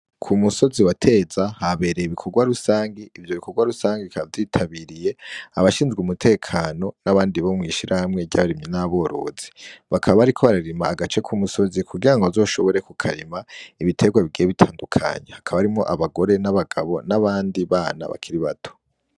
Ku musozi wa Teza habereye ibikorwa rusangi, ivyo bikorwarusangi bikaba vyitabiriye abashinzwe umutekano n'abandi bo mw'ishirahamwe ry'abarimyi n'aborozi. Bakaba bariko bararima agace k'umusozi kugira ngo bazoshobore kukarima ibiterwa bigiye bitandukanye. Hakaba harimwo abagore n'abagabo n'abandi bana bakiri bato.